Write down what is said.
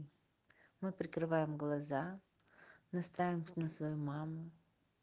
мы прикрываем глаза настраиваемся на свою маму